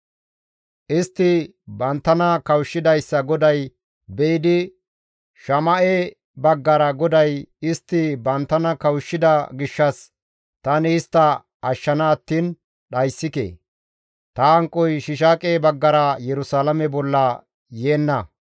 Istti banttana kawushshidayssa GODAY be7idi Shama7e baggara GODAY, «Istti banttana kawushshida gishshas tani istta ashshana attiin dhayssike. Ta hanqoy Shiishaaqe baggara Yerusalaame bolla yeenna.